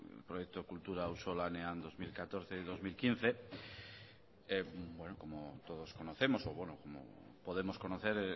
el proyecto kultura auzolanean dos mil catorce dos mil quince como todos conocemos o como podemos conocer